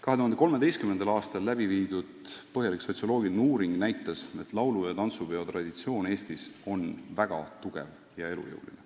" 2013. aastal läbi viidud põhjalik sotsioloogiline uuring näitas, et laulu- ja tantsupeo traditsioon Eestis on väga tugev ja elujõuline.